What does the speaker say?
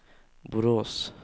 Borås